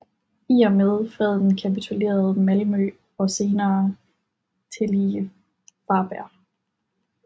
I og med freden kapitulerede Malmø og senere tillige Varberg